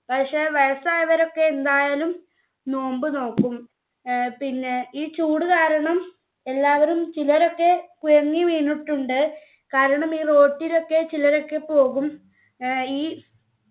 പക്ഷെ വയസ്സായവരൊക്കെ എന്തായാലും നോമ്പ് നോക്കും ഏർ പിന്നെ ഈ ചൂട് കാരണം എല്ലാവരും ചിലരൊക്കെ കുഴങ്ങി വീണിട്ടുണ്ട്. കാരണം ഈ road ലോക്കെ ചിലരൊക്കെ പോകും ഏർ ഈ